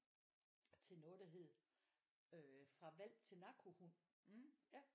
Til noget der hed øh fra hvalp til narkohund ja